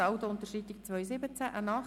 Saldounterschreitung 2017.